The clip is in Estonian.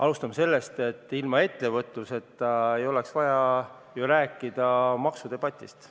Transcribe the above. Alustame sellest, et ilma ettevõtluseta ei oleks ju vaja rääkida maksudebatist.